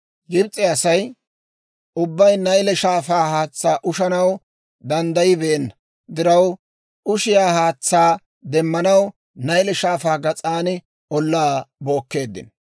Gibs'e Asay ubbay Nayle Shaafaa haatsaa ushanaw danddayibeenna diraw, ushiyaa haatsaa demmanaw Nayle Shaafaa gas'aan ollaa bookkeeddino.